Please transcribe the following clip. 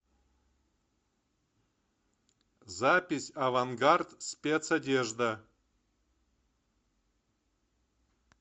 запись авангард спецодежда